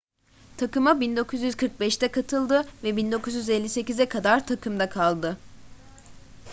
takıma 1945'te katıldı ve 1958'e kadar takımda kaldı